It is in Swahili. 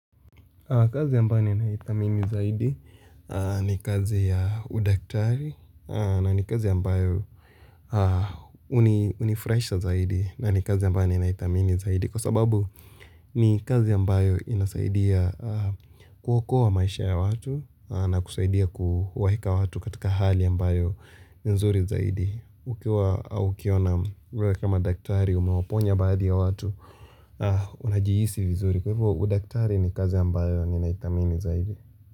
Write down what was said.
Kazi ambayo naidhamini zaidi ni kazi ya udaktari na ni kazi ambayo unifurahisha zaidi na ni kazi ambayo ninidhamini zaidi kwa sababu ni kazi ambayo inasaidia kuokoa maisha ya watu na kusaidia kuwaeka watu katika hali ambayo nzuri zaidi. Ukiwa au ukiona wewe kama daktari umewaponya baadhi ya watu Unajihisi vizuri Kwa hivyo udaktari ni kazi ambayo ninaidhamini zaidi.